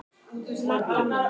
Magga mín.